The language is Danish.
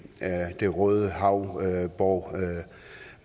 af det røde hav hvor